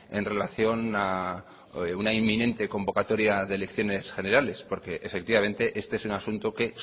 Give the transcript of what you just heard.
en relación a una inminente convocatoria de elecciones generales porque efectivamente este es un asunto que